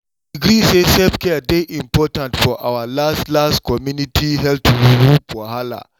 we gree say self-care dey important for our last last community health group wahala.